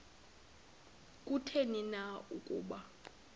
kutheni na ukuba